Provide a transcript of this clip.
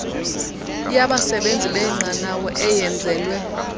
yabasebenzi benqanawa eyenzelwe